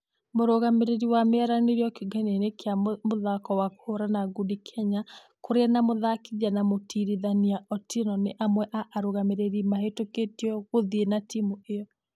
Mũrugamĩrĩri wa maranĩrio kĩũngano-inĩ gĩa mũthako wa kũhũrana ngundi kenya kuria na mũthakithia na mũtũĩrithania otieno nĩ amwe a arũgamĩrĩri mahĩtũkĩtio gũthie na timũ ĩno.